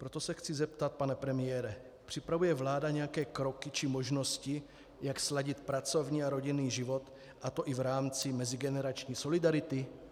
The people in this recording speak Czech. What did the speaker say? Proto se chci zeptat, pane premiére: připravuje vláda nějaké kroky či možnosti, jak sladit pracovní a rodinný život, a to i v rámci mezigenerační solidarity?